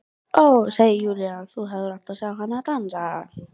Ó, segir Júlía, þú hefðir átt að sjá hana dansa!